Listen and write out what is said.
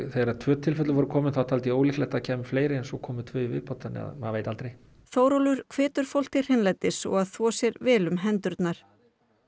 þegar tvö tilfelli voru komin fram taldi ég ólíklegt að það kæmu fleiri en svo komu tvö í viðbót þannig að maður veit aldrei Þórólfur hvetur fólk til hreinlætis og að þvo sér vel um hendurnar